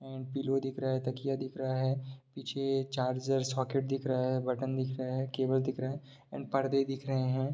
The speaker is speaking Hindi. एंड पिलो दिख रहा है तकिया दिख रहा है पीछे चार्जर्स सॉकेट दिख रहा है बटन दिख रहा है केवल दिख रहा है एंड पर्दे दिख रहे हैं।